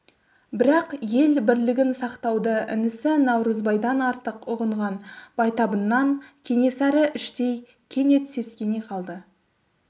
бірақ ел бірлігін сақтауды інісі наурызбайдан артық ұғынған байтабыннан кенесары іштей кенет сескене қалды